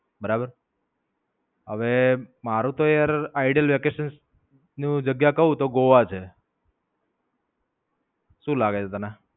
બરાબર, હવે મારુ તો The Idol Vacation ની જગ્યા કઉં તો ગોવા છે. શું લાગે છે તને?